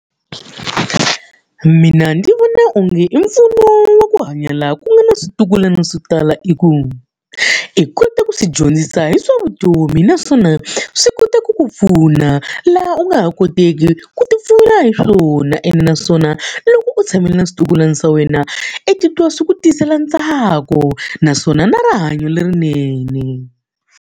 Mina ndzi vona onge empfuno wa ku hanya laha ku nga na switukulwana swo tala i ku, i kota ku swi dyondzisa hi swa vutomi naswona swi kota ku ku pfuna laha u nga ha koteki ku ti pfuna hi swona. Ene naswona loko u tshamela na switukulwana swa wena, i titwa swi ku tisela ntsako naswona na rihanyo lerinene.